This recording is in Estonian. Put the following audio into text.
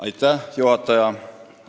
Aitäh, juhataja!